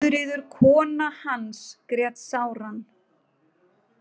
Guðríður kona hans grét sáran.